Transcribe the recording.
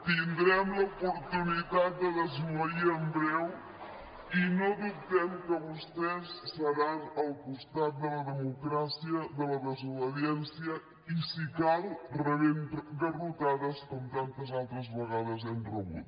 tindrem l’oportunitat de desobeir en breu i no dubtem que vostès seran al costat de la democràcia de la desobediència i si cal rebent garrotades com tantes altres vegades hem rebut